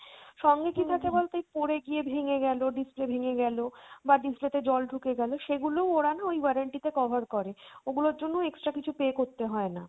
সঙ্গে কী থাকে বলতো এই পড়ে গিয়ে ভেঙে গেলো, display ভেঙে গেলো বা display তে জল ঢুকে গেলো সেগুলো ওরা না ওই warranty তে cover করে, ওগুলোর জন্য extra কিছু pay করতে হয়না।